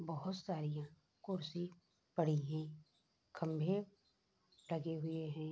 बहुत सारीयाँ कुर्सी पड़ी हैं खम्भे लगे हुए हैं।